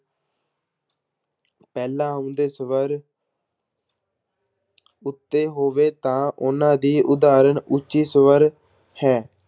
ਪਹਿਲਾਂ ਆਉਂਦੇ ਸਵਰ ਉੱਤੇ ਹੋਵੇ ਤਾਂ ਉਹਨਾਂ ਦੀ ਉਦਾਹਰਣ ਉੱਚੀ ਸਵਰ ਹੈ।